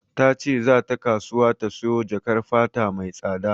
Ta ce za ta kasuwa ta sayo jakar fata mai tsada.